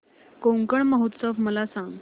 कोकण महोत्सव मला सांग